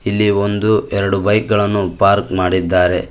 ಇಲ್ಲಿ ಒಂದು ಎರಡು ಬೈಕ್ ಗಳನ್ನು ಪಾರ್ಕ್ ಮಾಡಿದ್ದಾರೆ.